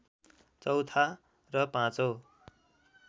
चौथा र पाँचौं